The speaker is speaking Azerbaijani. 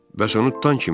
Bəs onu tutan kimdir?